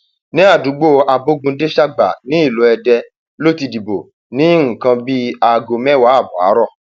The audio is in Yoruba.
ní àdúgbò abogundéṣágbà nílùú èdè ló ti dìbò ní nǹkan bíi aago mẹwàá ààbọ àárọ